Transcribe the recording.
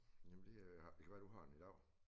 Jamen det øh det kan være du har den i dag